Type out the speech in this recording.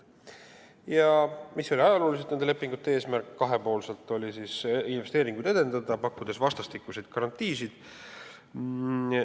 Ajalooliselt oli nende lepingute eesmärk edendada kahepoolseid investeeringuid, pakkudes vastastikuseid garantiisid.